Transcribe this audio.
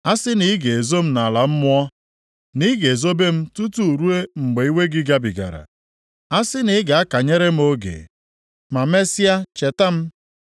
“A sị na ị ga-ezo m nʼala mmụọ, na ị ga-ezobe m tutu ruo mgbe iwe gị gabigara. A sị na ị ga-akanyere m oge ma mesịa cheta m.